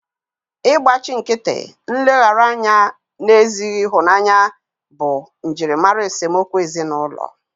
Ịgbachi nkịtị, nleghara anya na ezighị ịhụnanya bụ njirimara esemokwu ezinụlọ